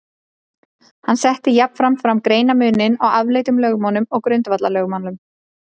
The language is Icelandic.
Hann setti jafnframt fram greinarmuninn á afleiddum lögmálum og grundvallarlögmálum.